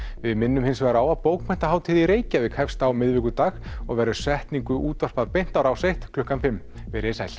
við minnum hins vegar á að bókmenntahátíð í Reykjavík hefst á miðvikudag og verður setningu útvarpað beint á Rás eitt klukkan fimm veriði sæl